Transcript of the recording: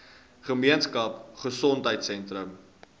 gemeenskap gesondheidsentrum ggs